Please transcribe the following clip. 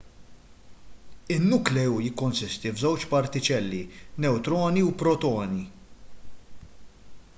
in-nukleu jikkonsisti f'żewġ partiċelli newtroni u protoni